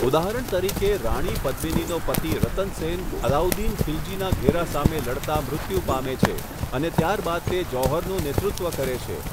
ઉદાહરણ તરીકે, રાણી પદ્મિનીનો પતિ રતન સેન અલાઉદ્દીન ખલજીના ઘેરા સામે લડતા મૃત્યુ પામે છે, અને ત્યાર બાદ તે જૌહરનું નેતૃત્વ કરે છે.